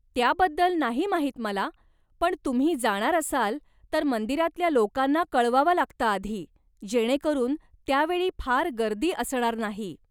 त्याबद्दल नाही माहीत मला पण तुम्ही जाणार असाल तर मंदिरातल्या लोकांना कळवावं लागतं आधी जेणेकरून त्यावेळी फार गर्दी असणार नाही.